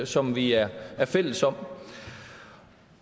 som vi er fælles om